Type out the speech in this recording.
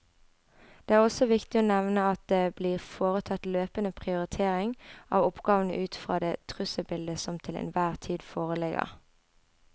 Det er også viktig å nevne at det blir foretatt løpende prioritering av oppgavene ut fra det trusselbildet som til enhver tid foreligger.